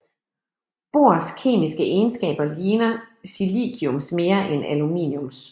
Bors kemiske egenskaber ligner siliciums mere end aluminiums